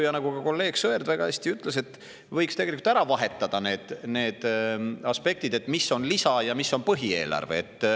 Ja nagu ka kolleeg Sõerd väga hästi ütles, tegelikult võiks ära vahetada need aspektid, et mis on lisa ja mis on põhieelarve.